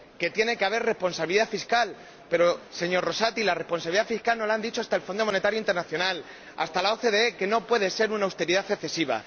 Que tiene que haber responsabilidad fiscal, pero, señor Rosati, la responsabilidad fiscal —nos lo ha dicho hasta el Fondo Monetario Internacional, hasta la OCDE—, no puede ser una austeridad excesiva.